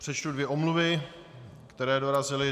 Přečtu dvě omluvy, které dorazily.